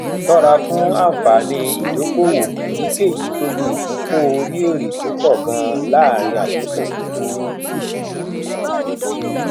òṣùwọn pàṣípààrọ lórí irú ẹrọ méjì kò ní ìpìlẹ bí um wọn ṣe um dálé um